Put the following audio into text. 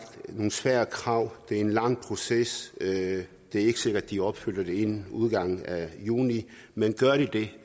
nogle svære krav det er en lang proces det er ikke sikkert at de opfylder det inden udgangen af juni men gør de det